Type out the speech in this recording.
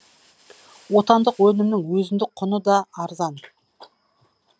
отандық өнімнің өзіндік құны да арзан